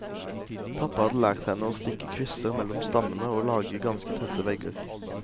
Pappa hadde lært henne å stikke kvister mellom stammene og lage ganske tette vegger.